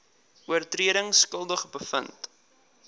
oortredings skuldig bevind